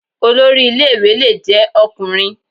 Olórí ilé ìwé lè jẹ́ Ọkùnrin